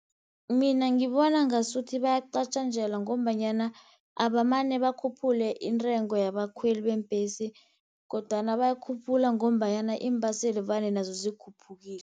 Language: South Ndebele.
Mina ngibona ngasuthi bayacatjanjelwa, ngombanyana abamane bakhuphule intengo yabakhweli beembhesi, kodwana bayikhuphula ngombanyana iimbaseli vane nazo zikhuphukile.